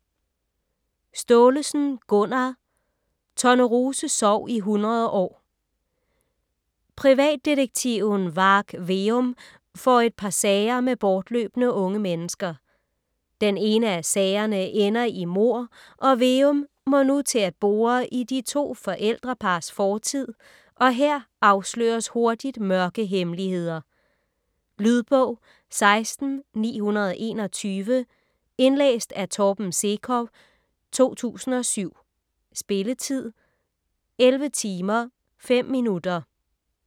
Staalesen, Gunnar: Tornerose sov i hundrede år Privatdetektiven Varg Veum får et par sager med bortløbne unge mennesker. Den ene af sagerne ender i mord, og Veum må nu til at bore i de to forældrepars fortid, og her afsløres hurtigt mørke hemmeligheder. Lydbog 16921 Indlæst af Torben Sekov, 2007. Spilletid: 11 timer, 5 minutter.